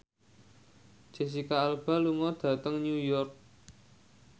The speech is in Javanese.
Jesicca Alba lunga dhateng New York